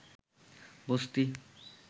বস্তি